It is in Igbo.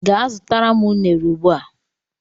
Jee zụtara m unere ugbua!!!!